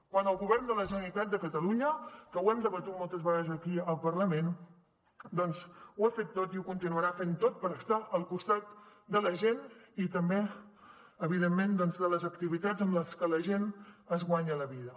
quan el govern de la generalitat de catalunya que ho hem debatut moltes vegades aquí al parlament doncs ho ha fet tot i ho continuarà fent tot per estar al costat de la gent i també evidentment de les activitats amb les que la gent es guanya la vida